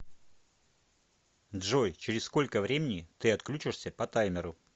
джой через сколько времени ты отключишься по таймеру